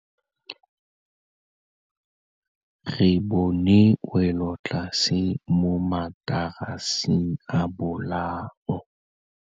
Re bone wêlôtlasê mo mataraseng a bolaô.